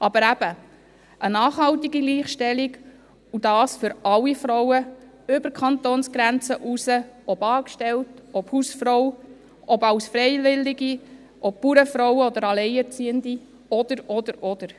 Aber eben: Eine nachhaltige Gleichstellung und dies für alle Frauen, über die Kantonsgrenzen hinweg, ob für Angestellte, Hausfrauen, ob für Freiwillige, Bauernfrauen oder ob für Alleinerziehende ... oder, oder, oder.